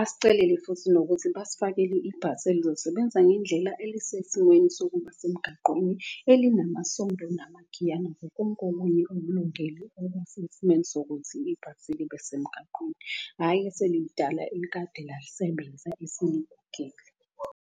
Asicelele futhi nokuthi basifakele ibhasi elizosebenza ngendlela elisesimweni sokuba semgaqweni elinamasondo . Konke okunye ulungele okusesimweni sokuthi ibhasi libe semgaqweni, hhayi eselilidala elikade lalisebenza eseligugile.